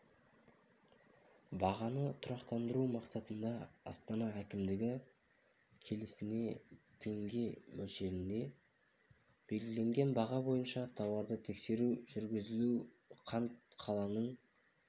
бағаны тұрақтандыру мақсатында астана әкімдігі келісіне теңге мөлшерінде белгіленген баға бойынша тауарды тексеру жүргізілуде қант қаланың